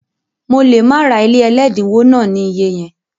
Mo lè má ra ilé ẹlẹ́dínwó náà ní iyẹ yẹn